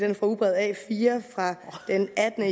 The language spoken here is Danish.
er fra ugebrevet a4 fra den attende